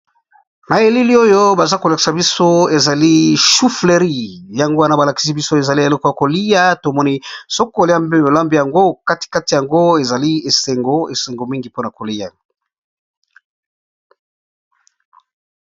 Na elili oyo baza kolakisa biso ezali choufflery. Yango wana ba lakisi biso ezali eleko ya kolia. Tomoni soko olambi yango okatikati yango ezali esengo esengo mingi mpona kolia.